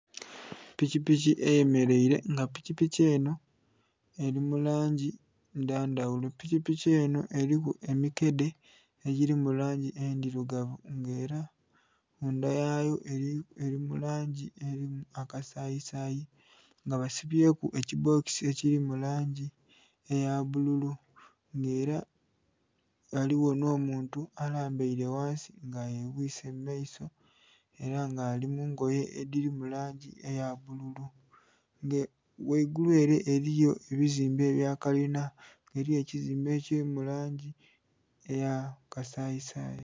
Pikipiki eye mereire nga pikipiki enho eri mulangi dha ndhaghulo pikipiki enho eriku emikedhe edhili mu langi endhirugavu nga era mundha yaayo eri mu langi eya kasayi sayi nga basibyeku ekibbokisi ekili mu langi eya bbululu nga era ghaligho nho muntu alambaire ghansi nga yebwise mu maiso era nga ali mungoye edhili mu langi eya bbululu nga ghaigulu ere eriyo ebizimbe ebya kalinha eriyo ekizimbe ekili mu langi eya kasayi sayi.